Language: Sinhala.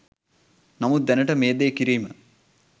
නමුත් දැනට මේ දේ කිරීම